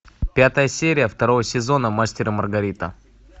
пятая серия второго сезона мастер и маргарита